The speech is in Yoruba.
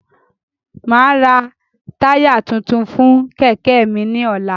Máa ra táyà tuntun fún Kẹ̀kẹ́ mi ni ọ̀la